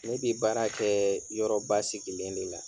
Ne bi baara kɛɛ yɔrɔ basigilen de la.